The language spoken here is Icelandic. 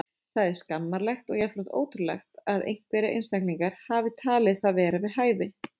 Það er skammarlegt og jafnframt ótrúlegt að einhverjir einstaklingar hafi talið það vera við hæfi.